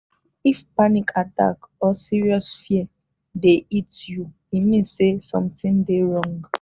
if panic attack or serious fear dey hit you e mean say something dey wrong.